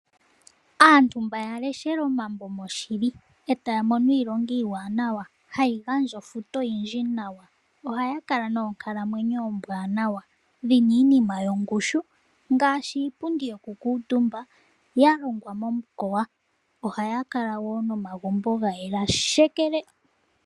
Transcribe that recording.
Aantu mba yaleshele omambo moshili eta ya mono iilonga iiwanawa hayi gandja ofuto oyindji nawa. Ohaa kala noonkalamwenyo oombwaanawa dhi na iinima yongushu ngaashi iipundi yoku kuutumba ya longwa momukoya. Ohaa kala woo nomagumbo ga yela nawa.